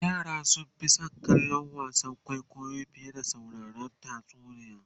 yara sun Fi San kallon wasan kwaikwayo fiye da sauraron tatsuniya